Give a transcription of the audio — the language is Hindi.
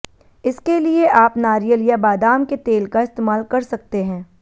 इसके लिए आप नारियल या बादाम के तेल का इस्तेमाल कर सकते हैं